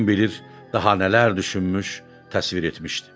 Kim bilir daha nələr düşünmüş, təsvir etmişdi.